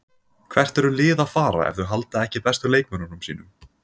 Hvert eru lið að fara ef þau halda ekki bestu leikmönnunum sínum?